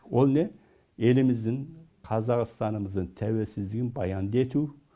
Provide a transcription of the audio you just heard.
ол не еліміздің қазақстанымыздың тәуелсіздігін баянды ету